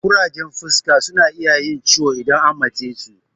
Ƙurajen fuska suna iya yin ciwo idan an matse su